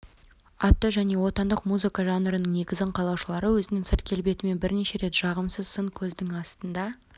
атты жаңа отандық музыка жанрының негізін қалаушылары өзінің сырт келбетімен бірнеше рет жағымсыз сын көздің астында